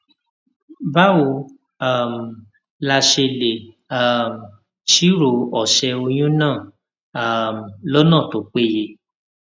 báwo um la ṣe lè um ṣírò òsè oyún náà um lónà tó péye